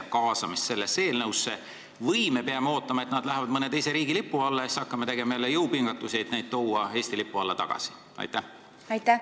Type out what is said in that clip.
Kas me peame ootama, et nad lähevad mõne teise riigi lipu alla, ja hakkame siis jälle jõupingutusi tegema, et neid Eesti lipu alla tagasi tuua?